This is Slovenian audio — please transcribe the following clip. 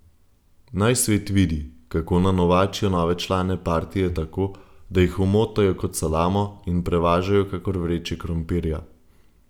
Naj svet vidi, kako nanovačijo nove člane partije tako, da jih omotajo kot salamo in prevažajo kakor vreče krompirja.